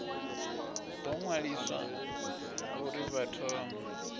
ḓo ṅwaliswa uri vha thome